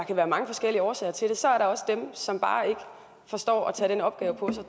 kan være mange forskellige årsager til det så er der også dem som bare ikke forstår at tage den opgave på sig